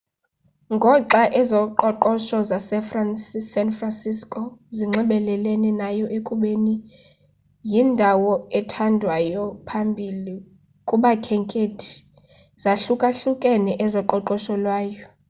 ngoxa ezoqoqosho zasesan franciso zinxibelelene nayo ekubeni yindawo ethandwayo ephambili kubakhenkethi zahlukahlukene ezoqoqosho lwayo